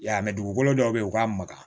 I y'a mɛ dugukolo dɔw bɛ yen u k'a maga